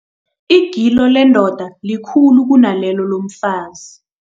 Igilo lendoda likhulu kunalelo lomfazi.